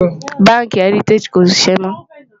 bánkì heritagií kò ṣiṣẹ mó